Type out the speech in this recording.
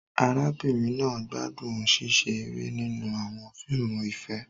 Arábìnrin náà gbádùn ṣíṣe eré nínú àwọn fíìmù ìfẹ́.